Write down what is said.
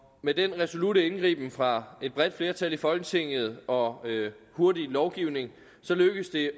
med den resolutte indgriben fra et bredt flertal i folketinget og hurtige lovgivning lykkedes det